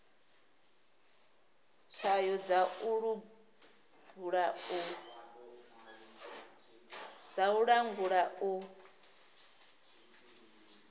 tswayo dza u langula u